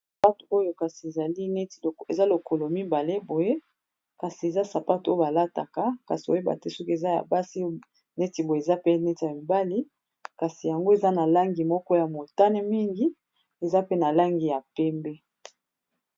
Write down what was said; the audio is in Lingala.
sapato oyo kasi ezali neti eza lokolo mibale boye kasi eza sapate oyo balataka kasi oyebate soki eza ya basi neti boye eza pe neti ya mibali kasi yango eza na langi moko ya motane mingi eza pe na langi ya pembe